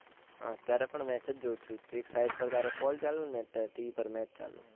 અત્યારે પણ match જ જોવ છું, એક side પર તારો કોલ ચાલે છે, અન TV પર match ચાલે છે.